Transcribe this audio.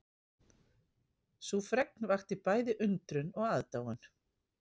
Sú fregn vakti bæði undrun og aðdáun